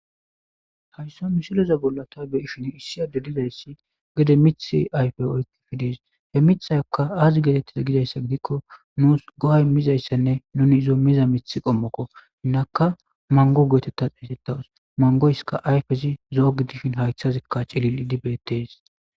Haysa misilexa bolla ta beyisjin issi adey dizzysi gede mithe bolla aufe oykides he mithayaka azi getetaze gizaysa gidiko nus go'a imizaysa ne nuni izo miza Mitha qomoko hinaka mango geteta xeygetaws mangoyka ayfezi zo'o gidishi haythaska cililidi beetes